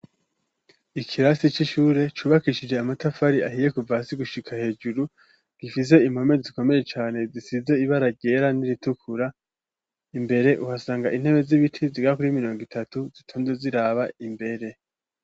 Ikirasi c'ishure cubakishije amatafari ahiye kuvasi gushika hejuru gifise impome zikomeye cane zisize ibara ryera n'iritukura imbere uhasanga intebe z'ibiti zigakur 'imirongo itatu zitonde ziraba imbere.